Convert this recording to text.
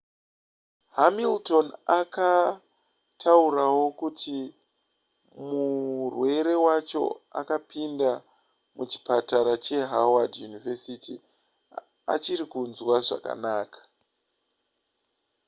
hamilton akataurawo kuti murwere wacho akapinda muchipatara chehoward university achiri kunzwa zvakakanaka